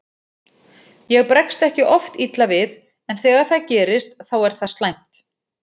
Ég bregst ekki oft illa við en þegar það gerist þá er það slæmt.